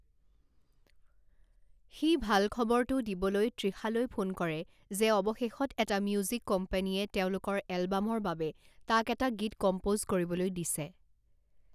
সি ভাল খবৰটো দিবলৈ তৃষালৈ ফোন কৰে যে অৱশেষত এটা মিউজিক কোম্পানীয়ে তেওঁলোকৰ এলবামৰ বাবে তাক এটা গীত কম্প'জ কৰিবলৈ দিছে।